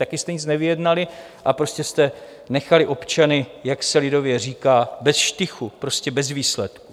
Taky jste nic nevyjednali a prostě jste nechali občany, jak se lidově říká, ve štychu, prostě bez výsledku.